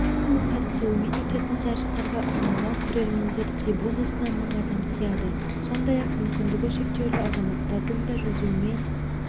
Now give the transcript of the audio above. қатысуымен өтетін жарыстарға арналған көрермендер трибунасына мың адам сияды сондай-ақ мүмкіндігі шектеулі азаматтардың да жүзумен